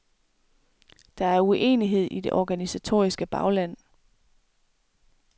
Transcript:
Der er uenighed i det organisatoriske bagland.